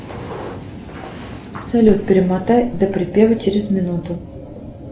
салют перемотай до припева через минуту